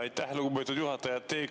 Aitäh, lugupeetud juhataja!